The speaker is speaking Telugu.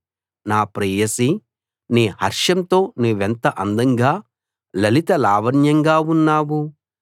నా ప్రేయసీ నీ హర్షంతో నువ్వెంత అందంగా లలిత లావణ్యంగా ఉన్నావు